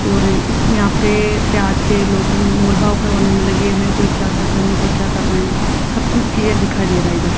और इस यहां पे प्याज के लोग मोलभाव करवाने में लगे हैं कोई क्या कर रहे हैं कोई क्या कर रहे हैं सब कुछ क्लियर दिखाई दे रहा इधर।